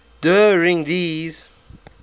der ring des